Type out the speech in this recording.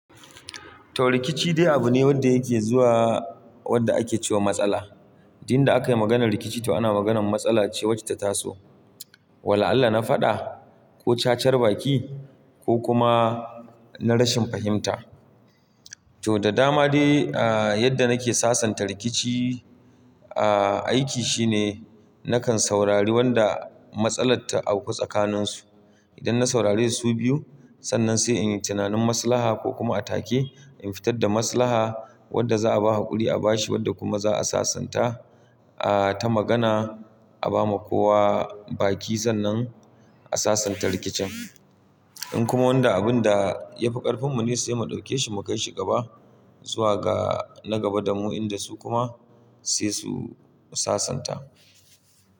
To rikici dai abu ne wanda yake zuwa wanda ake cewa matsala. Inda aka yi maganar rikici to ana maganar matsala ce wacce ta taso. Wala'allah na faɗa ko cacar baki ko kuma na rashin fahimta. To, da dama dai ah yadda nake sasanta rikici ah aiki shine nakan saurari wanda matsalar ta auku tsakaninsu. Idan na saurare su biyu sannan sai in yi tunanin maslaha ko kuma a take in fitar da maslaha wadda za'a ba hakuri a bashi wadda kuma za'a sasanta ah ta magana a ba ma kowa baki sannan a sasanta rikicin. In kuma wanda abun da ya fi ƙarfin mu ne sai mu ɗauke shi mu kai shi gaba zuwa ga na gaba damu inda su kuma sai su sasanta.